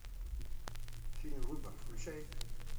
фильм выбор включай